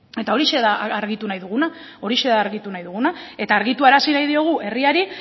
eta hori da argitu nahi dugu eta argitarazi nahi diogu herriari